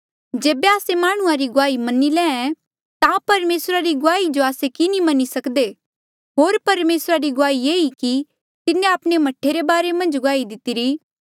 जेबे आस्से माह्णुंआं री गुआही मनी लैंहां ऐें ता परमेसरा री गुआही जो आस्से की नी मनी सकदे होर परमेसरा री गुआही ये ई कि तिन्हें आपणे मह्ठे रे बारे मन्झ गुआही दितिरी